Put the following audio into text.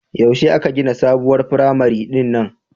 Yaushe aka gina sabuwar firamare din nan